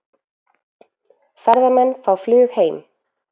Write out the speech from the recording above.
Ferðamenn fá flug heim